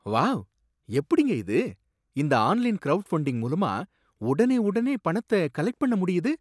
Wow, எப்படிங்க இது! இந்த ஆன்லைன் கிரவுட்ஃபண்டிங் மூலமா உடனே உடனே பணத்த கலெக்ட் பண்ண முடியுது